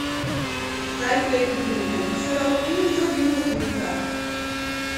Najprej je kupil nekaj biserov in jih zdrobil v fin prah.